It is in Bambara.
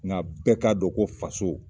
Nka bɛɛ k'a dɔn ko faso